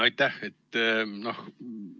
Aitäh!